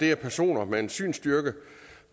er personer med en synsstyrke